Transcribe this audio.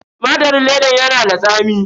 Tumatirin ledan yana da tsami.